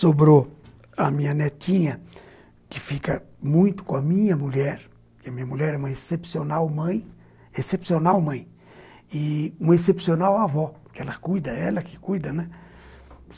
Sobrou a minha netinha, que fica muito com a minha mulher, porque a minha mulher é uma excepcional mãe, excepcional mãe, e uma excepcional avó, porque ela cuida, ela que cuida, né?